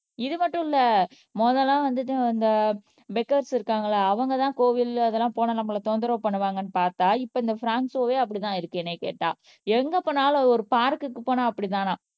இது மட்டும் இல்ல முதல்ல வந்துட்டு இந்த பெக்கர்ஸ் இருக்காங்கல்ல அவங்கதான் கோவில் அதெல்லாம் போனா நம்மளை தொந்தரவு பண்ணுவாங்கன்னு பார்த்தா இப்ப இந்த பிராங்க் ஷோவே அப்படித்தான் இருக்கு என்னை கேட்டா எங்க போனாலும் அது ஒரு பார்க்குக்கு போனா அப்படித்தானா